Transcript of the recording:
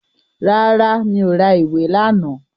Rárá, mi ò ra ìwé lánàá